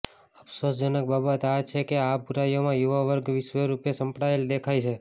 અફસોસ જનક બાબત આ છે કે આ બુરાઇઓમાં યુવાવર્ગ વિશેષરૃપે સપડાયેલો દેખાય છે